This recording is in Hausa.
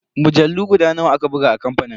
Mujallu guda nawa aka buga a kamfanin?